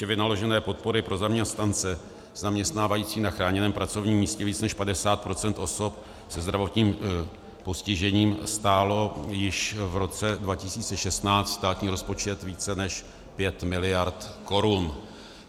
Výše vynaložené podpory pro zaměstnance zaměstnávající na chráněném pracovním místě víc než 50 % osob se zdravotním postižením stálo již v roce 2016 státní rozpočet více než 5 miliard korun.